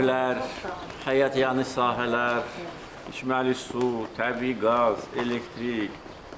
Evlər, həyətyanı sahələr, içməli su, təbii qaz, elektrik.